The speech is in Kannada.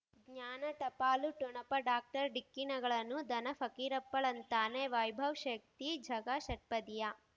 ಜ್ಞಾನ ಟಪಾಲು ಠೊಣಪ ಡಾಕ್ಟರ್ ಢಿಕ್ಕಿ ಣಗಳನು ಧನ ಫಕೀರಪ್ಪ ಳಂತಾನೆ ವೈಭವ್ ಶಕ್ತಿ ಝಗಾ ಷಟ್ಪದಿಯ